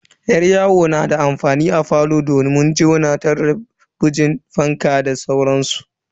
Yar yawo na da amfani a falo domin jona su talabijin, fankan da sauransu.